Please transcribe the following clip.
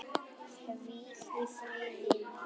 Hvíl í friði, nafni.